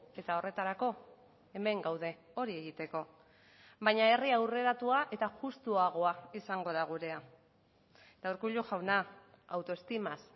eta horretarako hemen gaude hori egiteko baina herri aurreratua eta justuagoa izango da gurea eta urkullu jauna autoestimaz